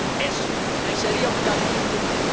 Eso sería un cambio de rumbo.